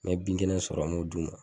N'an ye bin kɛnɛn sɔrɔ an m'o d'u ma